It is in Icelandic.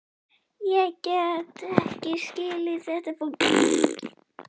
Ég gat ekki skilið þetta fólk.